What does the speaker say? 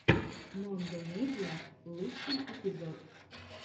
мондо медиа лучший эпизод